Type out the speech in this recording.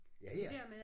Ja ja